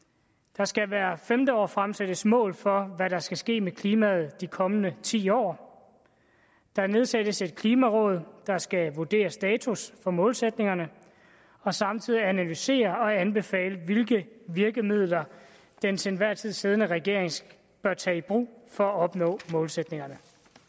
der skal hvert femte år fremsættes mål for hvad der skal ske med klimaet i de kommende ti år der nedsættes et klimaråd der skal vurdere status for målsætningerne og samtidig analysere og anbefale hvilke virkemidler den til enhver tid siddende regering bør tage i brug for at opnå målsætningerne